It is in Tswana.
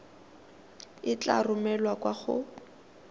e tla romelwa kwa go